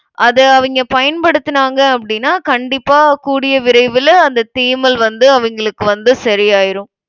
அதை அவிங்க பயன்படுத்துனாங்க அப்படின்னா கண்டிப்பா கூடிய விரைவில அந்த தேமல் வந்து அவங்களுக்கு வந்து சரியாயிரும்